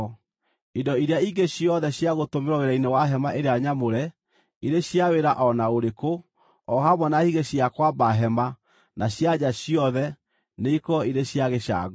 Indo iria ingĩ ciothe cia gũtũmĩrwo wĩra-inĩ wa hema ĩrĩa nyamũre, irĩ cia wĩra o na ũrĩkũ, o hamwe na higĩ cia kwamba hema na cia nja ciothe, nĩikorwo irĩ cia gĩcango.